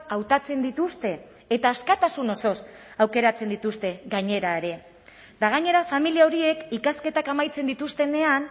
hautatzen dituzte eta askatasun osoz aukeratzen dituzte gainera ere eta gainera familia horiek ikasketak amaitzen dituztenean